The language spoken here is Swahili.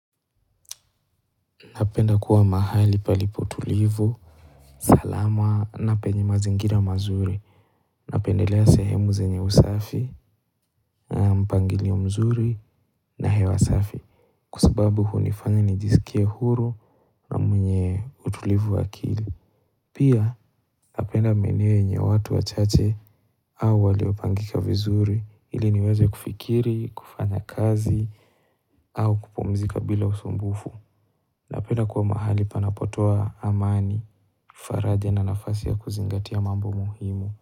Napenda kuwa mahali palipo tulivu, salama na penye mazingira mazuri Napendelea sehemu zenye usafi, mpangilio mzuri na hewa asafi kwa sababu hunifanya nijisikie huru mwenye utulivu wakili Pia napenda maeneo yenye watu wa chache au waliopangika vizuri ile niweze kufikiri, kufanya kazi au kupumzika bila usumbufu Napenda kuwa mahali panapotoa amani, faradhe na nafasi ya kuzingatia mambo muhimu.